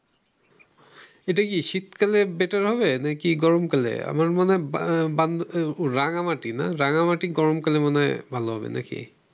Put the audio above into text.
এটা কি শীতকালে better হবে । না কি গরমকালে? আমার মনে হয় রাঙ্গামাটি না রাঙ্গামাটি গরমকালে মনে হয় ভালো হবে নাকি?